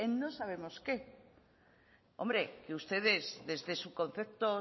en no sabemos qué hombre que ustedes desde su concepto